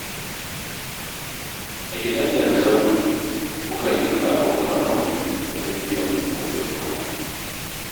A gidan da na zauna, mukan yi karo-karo wajen biyan kuɗin ruwa